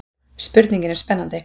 Spurningin er spennandi.